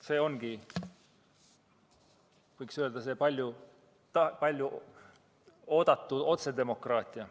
See ongi, võiks öelda, see palju oodatud otsedemokraatia.